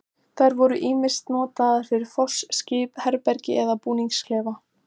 Þær voru ýmist notaðar fyrir foss, skip, herbergi eða búningsklefa.